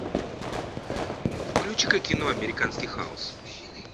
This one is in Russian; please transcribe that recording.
включи ка кино американский хаос